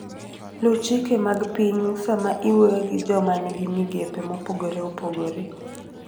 Luw chike mag pinyu sama iwuoyo gi joma nigi migepe mopogore opogore.